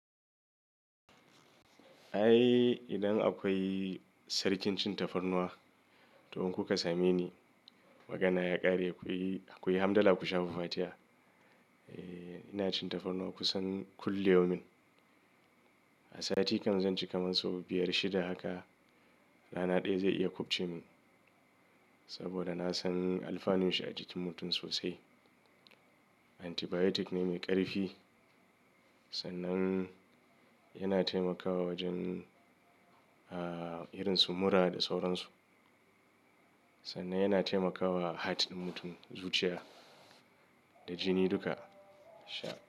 Ai idan akwai sarkin cin tafarnuwa to in kuka same ni, magana ya ƙare kuyi, kuyi hamdallah ku shafa fatiha. Eh ina cin tafarnuwa kusan kulli yaumin. A sati kan zan ci kamar sau biyar shida haka. Rana ɗaya zai iya ƙubce min saboda na san alfanun shi a jikin mutum sosai. Antibiotic ne mai ƙarfi sannan yana taimakawa wajen ah irin su mura da sauransu. Sannan yana taimakawa hat ɗin mutum zuciya da jini duka. Sha.